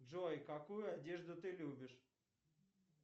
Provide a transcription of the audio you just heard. джой какую одежду ты любишь